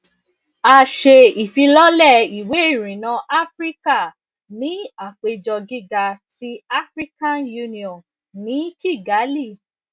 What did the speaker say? a ṣe ifilọlẹ iwe irinna afirika ni apejọ giga ti african union ni kigali